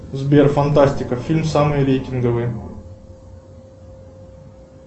сбер фантастика фильмы самые рейтинговые